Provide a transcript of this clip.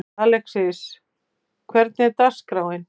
Alexis, hvernig er dagskráin?